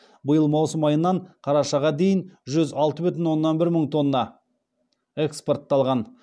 биыл маусым айынан қарашаға дейін жүз алты бүтін онан бір мың тонна экспортталған